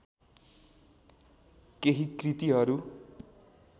केही कृतिहरू